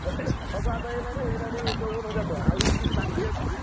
ସବୁ ଆଦାୟ ହେଲାଣି ହେଇଗଲାଣି ଚଉବନ ହଜାର ଟଙ୍କା ଆହୁରି ବି କିଛି ବାକି ଅଛନ୍ତି।